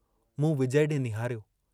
मूं विजय डे निहारियो।